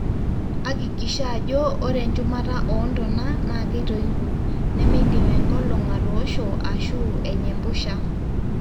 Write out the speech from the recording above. akikisha ajo ore echumata oo ntonaa na keitoipo ,nemeidim enkolong atoosho ashu enya empusha